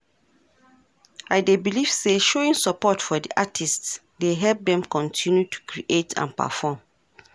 i dey believe say showing support for di artists dey help dem continue to create and perform.